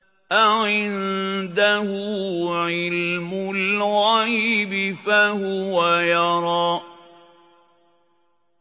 أَعِندَهُ عِلْمُ الْغَيْبِ فَهُوَ يَرَىٰ